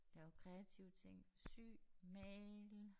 Lave kreative ting sy male